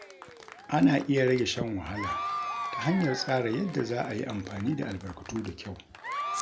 Ana iya rage shan wahala ta hanyar tsara yadda za a yi amfani da albarkatu da kyau.